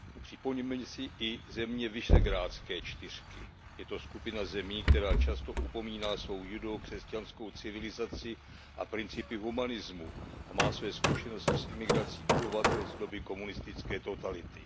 Připomeňme si i země Visegrádské čtyřky. Je to skupina zemí, která často upomíná svou judeo křesťanskou civilizaci a principy humanismu a má své zkušenosti s emigrací obyvatel z doby komunistické totality.